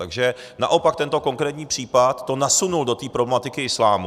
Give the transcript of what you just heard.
Takže naopak tento konkrétní případ to nasunul do té problematiky islámu.